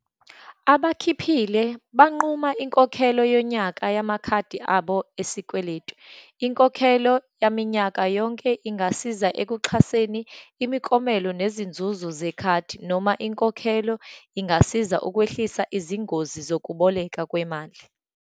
Abakhiphile, bamnquma inkokhelo yonyaka yamakhadi abo esikweletu. Inkokhelo yaminyaka yonke ingasiza ekuxhaseni imiklomelo nezinzuzo zekhadi, noma inkokhelo ingasiza ukwehlisa izingozi zokuboleka kwemali.